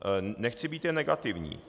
Nechci být jen negativní.